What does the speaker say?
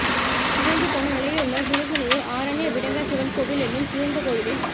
சிதைந்து போன நிலையிலுள்ள சிறுசுனையூர் ஆரண்ய விடங்கர் சிவன் கோவில் எனும் சிதைந்த கோயிலில்